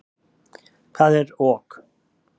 Hvað er ok?